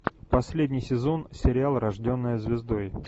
последний сезон сериал рожденная звездой